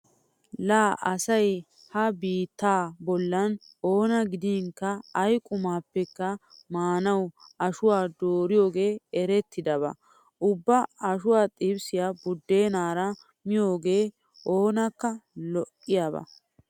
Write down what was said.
Laa asay ha biittaa bollan oona gidinkka ay qumaappekka maanawu ashuwa dooriyogee erettidaba. Ubba ashuwa xibisiya buddeenaara miyogee oonakka lo'iyaba.